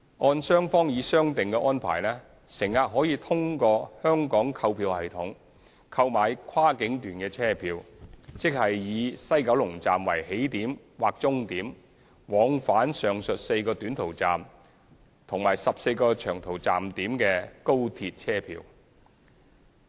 按雙方已商定的安排，乘客可以通過香港購票系統，購買跨境段車票，即以西九龍站為起點或終點，往返上述4個短途站點和14個長途站點的高鐵車票。